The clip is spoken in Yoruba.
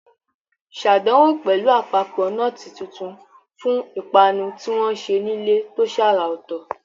Ṣàdánwò pẹ̀lú àpapọ̀ nọ́ọ̀tì tuntun fún ìpanu tí wọ́n ṣe nílé tó ṣàrà ọ̀tọ̀.